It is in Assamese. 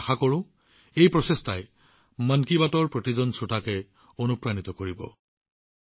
মই আশা কৰোঁ এই প্ৰচেষ্টাই মন কী বাতৰ প্ৰতিজন শ্ৰোতাক অনুপ্ৰাণিত কৰিব